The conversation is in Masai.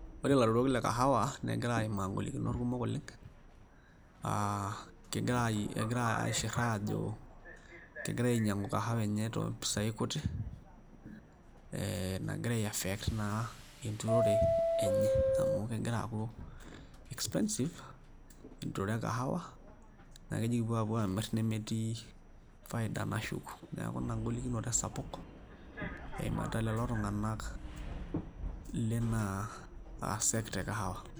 Ore ilaturok le kahawa negira aimaa ingolikinot kumok oleng uh kigirai egira aishirr aajo kegirae ainying'u kahawa enye tompisai kutik eh nagira ae affect naa enturore enye amu kegira aaku expensive enturore e kahawa naakeji kipuo amirr nemetii faida nashuku niaku ina golikinoto esapuk eimarita lelo tung'anak lina uh sector e kahawa.